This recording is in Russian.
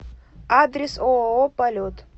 адрес ооо полет